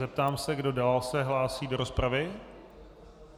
Zeptám se, kdo dál se hlásí do rozpravy.